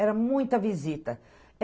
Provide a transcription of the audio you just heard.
Era muita visita.